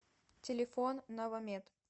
телефон новомед